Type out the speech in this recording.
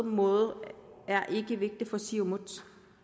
måde er ikke vigtig for siumut